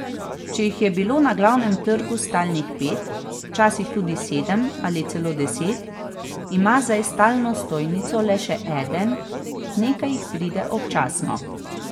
Če jih je bilo na Glavnem trgu stalnih pet, včasih tudi sedem ali celo deset, ima zdaj stalno stojnico le še eden, nekaj jih pride občasno.